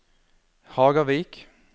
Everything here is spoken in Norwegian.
Hagavik